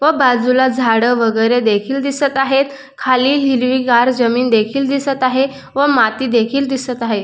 व बाजूला झाड वगेरे देखील दिसत आहेत खालील हिरवी गार जमीन देखील दिसत आहे व खाली माती देखील दिसत आहे.